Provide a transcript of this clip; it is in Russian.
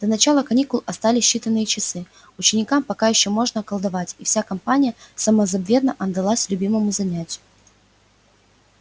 до начала каникул остались считанные часы ученикам пока ещё можно колдовать и вся компания самозабвенно отдалась любимому занятию